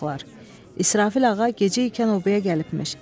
Ay uşaqlar, İsrafil ağa gecəykən obaya gəlibmiş.